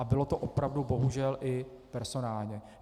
A bylo to opravdu bohužel i personálně.